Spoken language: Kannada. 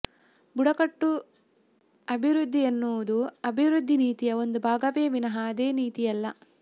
ಬುಡಕಟ್ಟು ಅಭಿವೃದ್ಧಿಯೆನ್ನುವುದು ಅಭಿವೃದ್ಧಿ ನೀತಿಯ ಒಂದು ಭಾಗವೇ ವಿನಾ ಅದೇ ನೀತಿಯಲ್ಲ